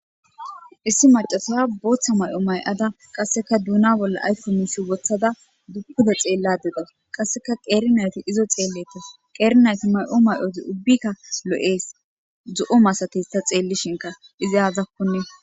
issi macasa booththa ma'o ma'ada qasseka duuna bolla ayko mishi wothada pude xeellada dawus qasseka qeeri nayti izo xeelletes qeeri nayti may'o may'oti ubbikka loees zo'o masates ta xeellishinka izi aazakkon